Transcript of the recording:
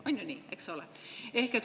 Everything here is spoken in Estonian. On ju nii, eks ole?